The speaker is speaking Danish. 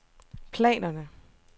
planerne